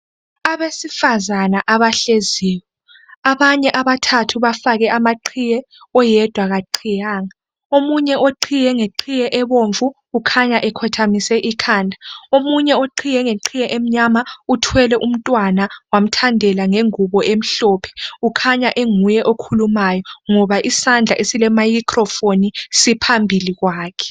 Abesifazana abahleziyo abanye abathathu bafake amaqhiye oyedwa akaqhiyanga. Omunye oqhiye ngeqhiye ebomvu kukhanya ekhothamise ikhanda. Omunye oqhiye ngeqhiye emnyama uthwele umntwana wamthandela ngengubo emhlophe kukhanya enguye okhulumayo ngoba isandla esile microphone siphambili kwakhe.